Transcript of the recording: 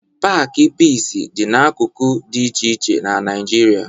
Paakị Piisi dị n'akụkụ dị iche iche na Naịjirịa